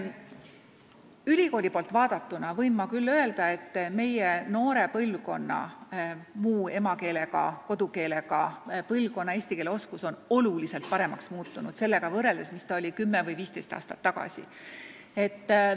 Ülikooli poolt vaadatuna võin ma küll öelda, et muu emakeelega või kodukeelega noore põlvkonna eesti keele oskus on oluliselt paremaks muutunud, kui võrrelda sellega, mis ta oli 10 või 15 aastat tagasi.